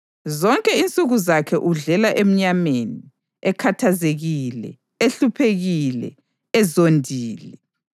Zonke insuku zakhe udlela emnyameni, ekhathazekile, ehluphekile, ezondile.